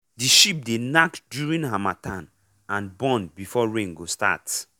the sheep dey knack during harmattan and born before rain go start